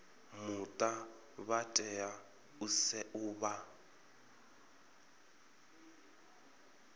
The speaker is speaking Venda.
muta vha tea u vha